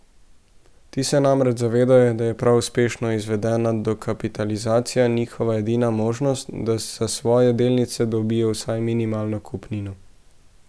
Ti se namreč zavedajo, da je prav uspešno izvedena dokapitalizacija njihova edina možnost, da za svoje delnice dobijo vsaj minimalno kupnino.